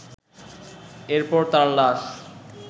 এরপর তার লাশ